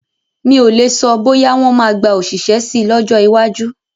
Mi o le sọ, bóyá wọn máa gba òṣìṣẹ́ síi lọ́jọ́ iwájú